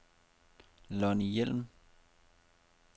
Lonni Hjelm